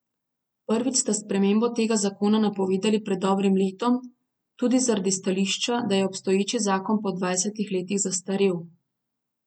Prvič ste spremembo tega zakona napovedali pred dobrim letom, tudi zaradi stališča, da je obstoječi zakon po dvajsetih letih zastrel.